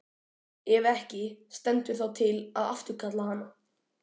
Ef ekki, stendur þá til að afturkalla hana?